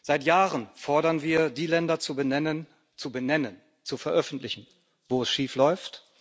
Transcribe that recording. Seit Jahren fordern wir, die Länder zu benennen zu benennen, zu veröffentlichen wo es schiefläuft.